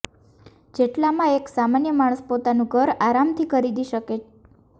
જેટલામાં એક સામાન્ય માણસ પોતાનું ઘર આરામથી ખરીદી શકે